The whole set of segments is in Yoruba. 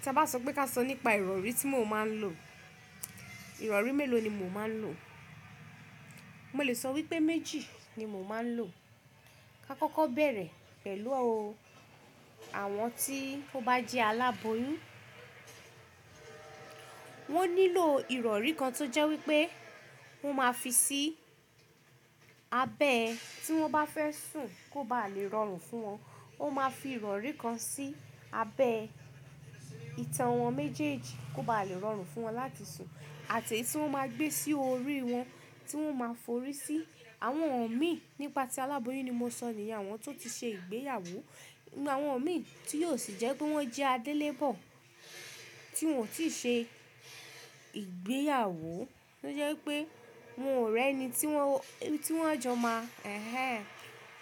Tí a bá sọ pé ká sọ nípa ìrọ̀rí tí mo máa ń lò, ìrọ̀rí mélòó ni mo máa ń lò? Mo lè sọ wípé méjì ni mo máa ń lò. Ka kọ́kọ́ bẹ̀rẹ̀ pẹ̀lú o, àwọn tí ó bá jẹ́ aláboyún, wón nílò ìrọ̀rí kan tó jẹ́ wípé wón máa fi sí abẹ́ tí wón bá fẹ́ sùn kó ba lè rọrùn fún wọn. Ó máa fi ìrọ̀rí kan sí abẹ́ ìtàn wọn méjèèjì kó ba lè rọrùn fún wọn láti sùn àti eyi tí wón máa gbé sí orí wọn tí wón máa forí sí. Àwọn ọ̀mí nípa tí aláboyún ni mo sọ̀ ní, àwọn tó ti ṣe ìgbéyàwó. Àwọn ọ̀mí tí yóò sì jẹ́ pé wón jẹ́ adélébọ̀ tí wón ò tí ì ṣe ìgbéyàwó tó jẹ́ wípé wón ò rẹ́ ẹni tí wón, tí wón jọ máa.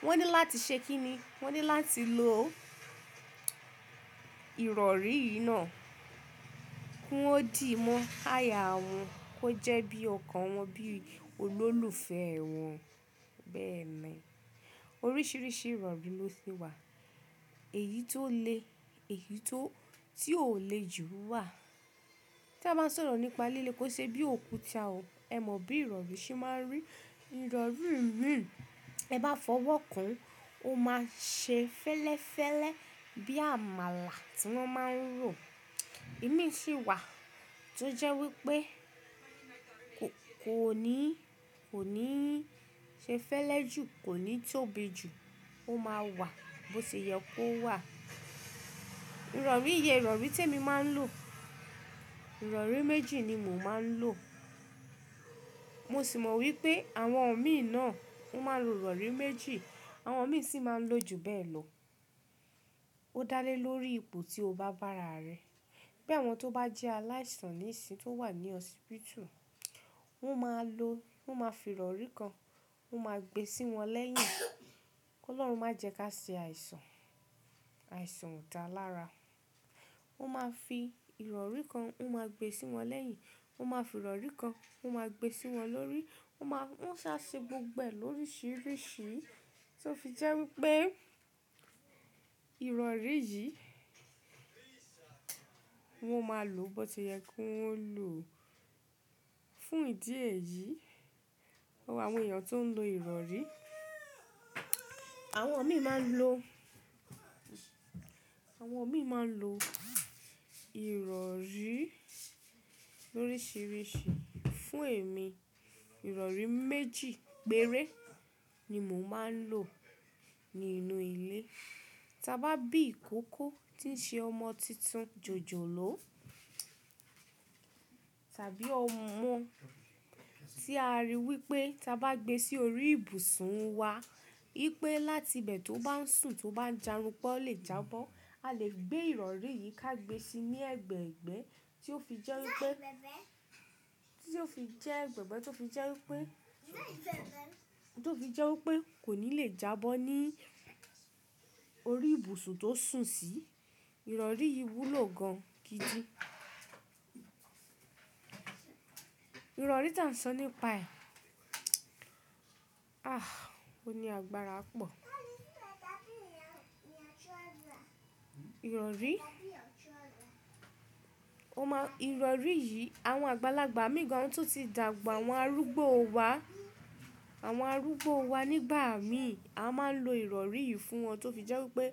Wọ́n ní láti ṣe kíni? Wọ́n ní láti lò ìrọ̀rí yìí náà kí wọ́n dì mọ́, áya wọn kó jẹ́ bí ọkàn wọn bí olólùfẹ́ wọn. Bẹ́ẹ̀ ni. Oríṣiríṣi ìrọ̀rí ló ṣe wà. Èyí tó le, èyí tó, tí ò le jù wà. Tí a bá sọ̀rọ̀ nípa líle kó ṣe bí òkúta o, ẹ mọ bí ìrọ̀rí ṣe máa ń rí. Ìrọ̀rí mìíràn, tẹ bá fọwọ́ kàn ó máa ṣe fẹ́lẹ́fẹ́lẹ́ bí àmàlà tí wọ́n máa ń rọ̀. Ìmí sì wà tó jẹ́ wípé kò ní, kò ní ṣe fẹ́lẹ́ jù, kò ní tóbi jù, ó máa wà bó ti yẹ kó wà. Ìrọ̀rí yẹn ìrọ̀rí tí èmi máa ń lò. Ìrọ̀rí méjì ni mò ń máa ń lò. Mo sì mọ wípé àwọn ọ̀mí náà wón máa ń lo ìrọ̀rí méjì. Àwọn ọ̀mí sì máa ń lo jù bẹ́ẹ̀ lọ. Ó dá lé lórí ipò tí o bá bá ara rẹ. Bí àwọn tó bá jẹ́ aláìsàn níìsín tó wà ní hospital, wón máa lò, wón máa fi ìrọ̀rí kan, wón máa gbe sí wọn lẹ́yìn. Ki Ọlọ́run má jẹ ka ṣe àìsàn, àìsàn kò dáa lára. Wón máa fi ìrọ̀rí kan, wón máa gbe sí wọn lẹ́yìn. Wón máa fi ìrọ̀rí kan, wón máa gbe sí wọn lórí. Wón máa, wón sá ṣe gbogbo ẹ lóríṣiríṣi. Tó fi jẹ́ wípé ìrọ̀rí yìí wón máa lò bó ti yẹ kó wón lò fún ìdí èyí. Awon èèyàn tó ń lo ìrọ̀rí, àwọn ọ̀mí máa ń lo, àwọn ọ̀mí máa ń lo ìrọ̀rí lóríṣiríṣi. Fún èmi, ìrọ̀rí méjì péré ni mò ń máa ń lò nínú ilé. Tí a bá bí ìkókó tí ń ṣe ọmọ titun jòjòló tàbí ọmọ tí a rí wípé tí a bá gbe sí orí ibùsùn wa wípé láti ibẹ̀ tó bá ń sùn tó bá ń járunpa o lè jábọ́. A lè gbé ìrọ̀rí yìí ká gbe síi ní ẹ̀gbẹ̀ẹ̀gbẹ́ tí ó fi jẹ́ wípé, tí ó fi jẹ́ ẹ̀gbẹ̀ẹ̀gbẹ́ tí ó fi jẹ́ wípé, tí ó fi jẹ́ wípé kò ní lè jábọ́ ní orí ibùsùn tó sùn sí. Ìrọ̀rí yìí wúlò gan gidi. Ìrọ̀rí tí à ń sọ nípa ẹ̀, ah òní àgbàrá pọ̀. Ìrọ̀rí, o má, ìrọ̀rí yìí àwọn àgbàlagbà mi gan àwọn tó ti dàgbà, àwọn arúgbó wa, àwọn arúgbó wa nígbà mí a máa ń lo ìrọ̀rí yìí fún wọn tó fi jẹ́ wípé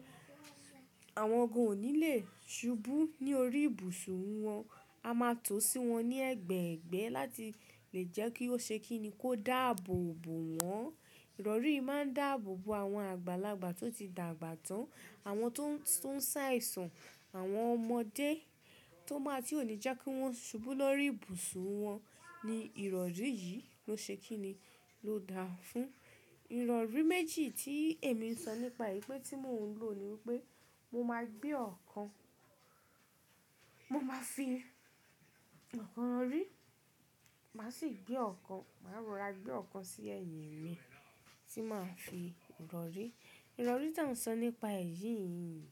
àwọn gan ò ní lè subú ní orí ibùsùn wọn. A máa tò sí wọn ní ẹ̀gbẹ̀ẹ̀gbẹ́ láti lè jẹ́ kí ó ṣe kíni kó dààbòbò wọ́n. Ìrọ̀rí máa ń dààbòbò àwọn àgbàlagbà tó ti dàgbà tán, àwọn tó ń sái sàn, àwọn ọmọdé tó bá tí ò ní jẹ́ kí wọ́n subú lórí ibùsùn wọn ni ìrọ̀rí yìí ló ṣe kíni ló dáa fún. Ìrọ̀rí méjì tí èmi ń sọ nípa ì pé tí mò ń lò ni wípé mo máa gbé ọ̀kan, mo máa fi ọ̀kan rọ̀rí, màá sì gbé ọ̀kan, màá rọra gbé ọ̀kan sí ẹ̀yìn mi tí màá fi rọ̀rí. Ìrọ̀rí tí à ń sọ nípa èyí yìí,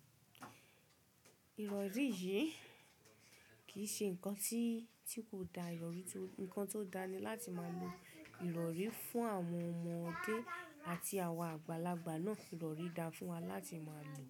ìrọ̀rí yìí kì í ṣe nǹkan tí kò dáa. Ìrọ̀rí tó, ǹkan tó dáa ni láti máa lo ìrọ̀rí fún àwọn ọmọdé àti àwọn àgbàlagbà náà. Ìrọ̀rí dáa fún wa láti máa lò.